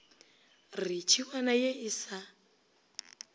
re tšhiwana ye e sa